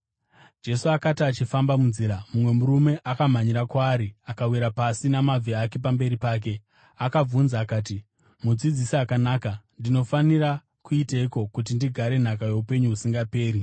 Jesu akati achifamba munzira, mumwe murume akamhanyira kwaari akawira pasi namabvi ake pamberi pake. Akabvunza akati, “Mudzidzisi akanaka, ndinofanira kuiteiko kuti ndigare nhaka youpenyu husingaperi?”